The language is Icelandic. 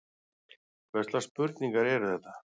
Hvurslags spurningar eru þetta?